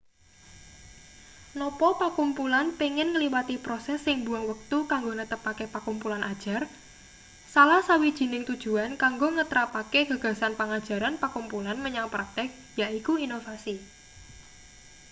napa pakumpulan pengin ngliwati proses sing mbuwang wektu kanggo netepake pakumpulan ajar salah sawijining tujuan kanggo ngetrapake gagasan pangajaran pakumpulan menyang praktik yaiku inovasi